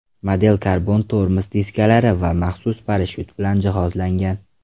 Model karbon tormoz diskalari va maxsus parashyut bilan jihozlangan.